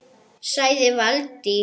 sagði Valdís